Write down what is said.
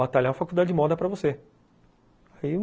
batalhar a faculdade de moda para você.